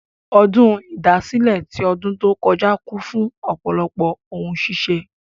Ọdún ìdásílẹ̀ tí ọdùn tó kọ́já kún fún ọ̀pọ̀lọpọ̀ ohun ṣíṣe.